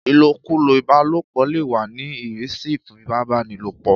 Ìlòkulò ìbálòpọ̀ lè wà ní ìrísí ìfipábánilòpọ̀.